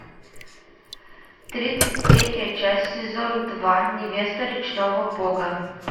тридцать третья часть сезон два невеста речного бога